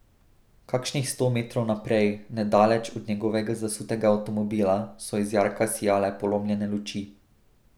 Kakšnih sto metrov naprej, nedaleč od njegovega zasutega avtomobila, so iz jarka sijale polomljene luči.